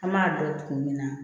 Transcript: An b'a dɔn kun min na